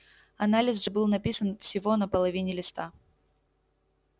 анализ же был написан всего на половине листа